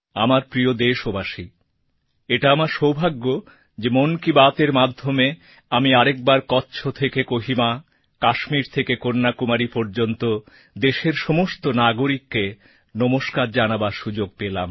আমার প্রিয় দেশবাসী এটা আমার সৌভাগ্য যে মন কি বাতএর মাধ্যমে আমি আর একবার কচ্ছ থেকে কোহিমা কাশ্মীর থেকে কন্যাকুমারী পর্যন্ত দেশের সমস্ত নাগরিককে নমস্কার জানাবার সুযোগ পেলাম